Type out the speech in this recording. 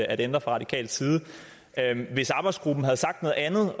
ændre fra radikal side hvis arbejdsgruppen havde sagt noget andet